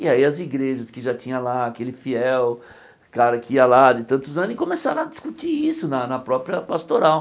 E aí as igrejas que já tinha lá, aquele fiel cara que ia lá de tantos anos, e começaram a discutir isso na na própria pastoral.